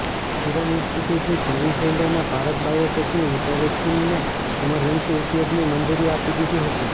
serum ઈન્સ્ટિટ્યુટની Covishield અને ભારત બાયોટેકની કોવેક્સીનને ઈમરજન્સી ઉપયોગની મંજુરી આપી દીધી હતી